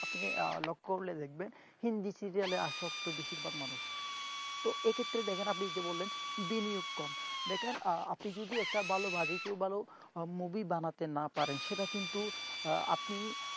আপনি লক্ষ্য করে দেখবেন হিন্দি serial আশ্বস্ত বেশিরভাগ মানুষ তো এক্ষেত্রে দেখেন আপনি যে বললেন বিনিয়োগ কম দেখেন আপনি যদি একটা ভালো budget ভালো movie বানাতে না পারেন সেটা কিন্তু আপনি